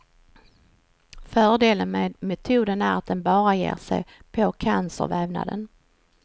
Fördelen med metoden är att den bara ger sig på cancervävnaden.